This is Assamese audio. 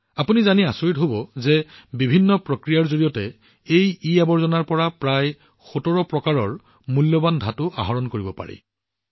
আপোনালোকে জানি আচৰিত হব যে বিভিন্ন প্ৰক্ৰিয়াৰ জৰিয়তে এই ইআৱৰ্জনাৰ পৰা প্ৰায় ১৭প্ৰকাৰৰ মূল্যৱান ধাতু আহৰণ কৰিব পাৰি